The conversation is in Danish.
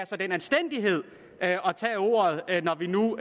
sig den anstændighed at tage ordet når vi nu